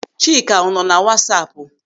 Chika ọ nọ na wasapu?